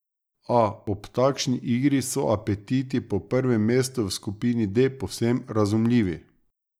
A ob takšni igri so apetiti po prvem mestu v skupini D povsem razumljivi.